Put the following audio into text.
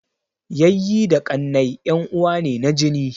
Yayyi da ƙannai en uwa ne na jini